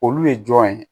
Olu ye jɔn ye